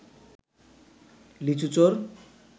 লিচু চোর